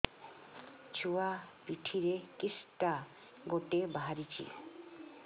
ଛୁଆ ପିଠିରେ କିଶଟା ଗୋଟେ ବାହାରିଛି